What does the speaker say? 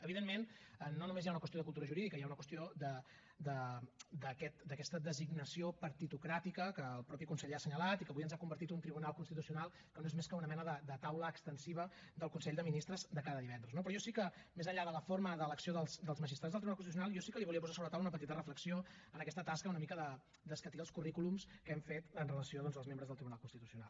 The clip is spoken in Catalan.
evidentment no només hi ha una qüestió de cultura jurídica hi ha una qüestió d’aquesta designació partitocràtica que el mateix conseller ha assenyalat i que avui ens ha convertit un tribunal constitucional que no és més que una mena de taula extensiva del consell de ministre de cada divendres no però jo sí que més enllà de la forma d’elecció dels magistrats del tribunal constitucional jo sí que li volia posar sobre la taula una petita reflexió en aquesta tasca una mica d’escatir els currículums que hem fet amb relació als membres del tribunal constitucional